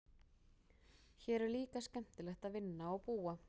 Hér er líka skemmtilegt að vinna og búa.